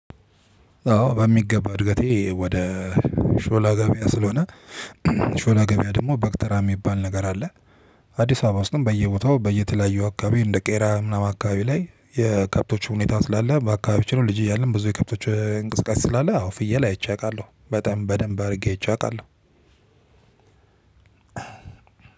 አዎ በሚገባ እድገቴ ወደ ሾላ ገበያ ስለሆነ ሾላ ገበያ ደግሞ በግ ተራ የሚባል ነገር አለ። አዲስ አበባ ውስጥም በየቦታው በየተለያዩ አካባቢ እንደ ቄራ ምናምን አካባቢ ላይ የከብቶቹ ሁኔታ ስላለ በአካባቢው ልጅ እያለ ብዙ የከብቶች እንቅስቃሴ ስላለ አዎ ፍየል አይቼ አውቃለሁ በጣም በደንብ አድርጌ አይቼ አቃለሁ።